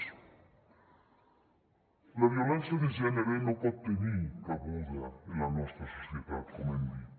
la violència de gènere no pot tenir cabuda en la nostra societat com hem dit